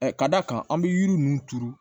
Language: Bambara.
k'a d'a kan an bɛ yiri ninnu turu